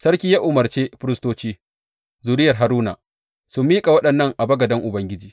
Sarki ya umarce firistoci, zuriyar Haruna, su miƙa waɗannan a bagaden Ubangiji.